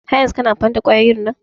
Har yanzun kana amfani da kwayoyin nan?